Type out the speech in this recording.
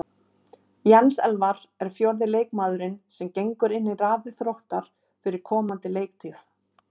Jens Elvar er fjórði leikmaðurinn sem gengur í raðir Þróttar fyrir komandi leiktíð.